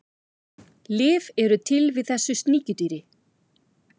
lyf eru til við þessu sníkjudýri